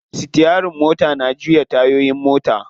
Sitiyarin mota na juya tayoyin mota.